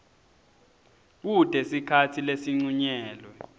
kute sikhatsi lesincunyelwe